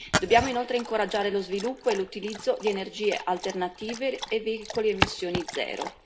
Dobbiamo inoltre incoraggiare lo sviluppo e l'utilizzo di energie alternative e veicoli a emissioni zero.